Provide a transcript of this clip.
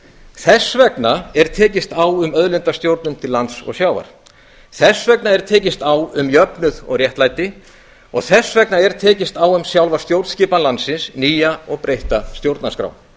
þess vegna er tekist á um auðlindastjórnun til lands og sjávar þess vegna er tekist á um aukinn jöfnuð og réttlæti og þess vegna er tekist á um sjálfa stjórnskipan landsins nýja og breytta stjórnarskrá